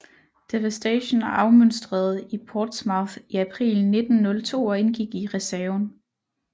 Devastation afmønstrede i Portsmouth i april 1902 og indgik i reserven